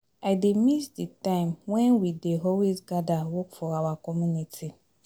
I dey miss the time wen we dey always gather work for our community